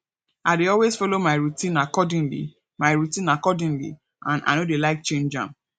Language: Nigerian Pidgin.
i dey always follow my routine accordingly my routine accordingly and i no dey like change am